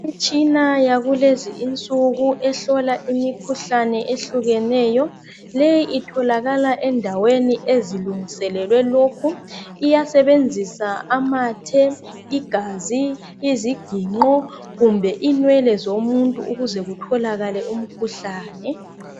Imitshina yakulezinsuku ehlola imikhuhlane ehlukeneyo. Leyi itholakala endaweni ezilungiselelwe lokhu. Iyasebenza amathe, igazi, iziginqo, kumbe inwele zomuntu ukuze kutholakale umkhuhlane.